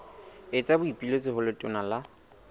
etsa boipiletso ho letona la